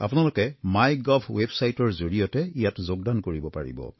আপোনালোকে my gov ৱেৱছাইটৰ জৰিয়তে ইয়াত যোগদান কৰিব পাৰিব